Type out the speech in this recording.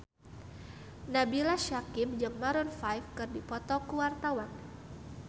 Nabila Syakieb jeung Maroon 5 keur dipoto ku wartawan